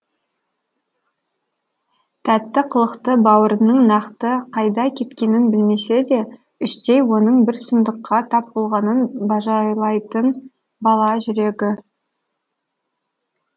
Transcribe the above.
тәтті қылықты бауырының нақты қайда кеткенін білмесе де іштей оның бір сұмдыққа тап болғанын бажайлайтын бала жүрегі